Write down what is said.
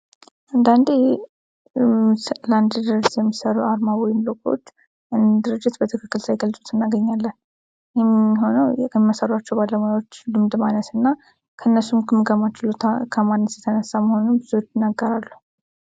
አንዳንዴ ለአንድ ድርጅት የሚሠራ አርማዎች ወይም ሎጐዎች ድርጅት በትክክል ሳይገልጹት እናገኛለን። ይህም የሚሆነው ልምድ ማነስና ከራሱም ግምገማ ችሎታ ከማነስ የተነሳ መሆኑ ብዙዎች ይናገራሉ።